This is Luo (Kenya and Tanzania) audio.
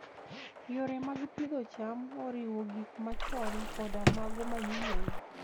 Yore mag pidho cham oriwo gik machon koda mago manyien.